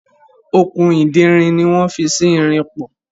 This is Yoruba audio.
Okùn ìderin ni wọ́n fi sí irin pọ̀.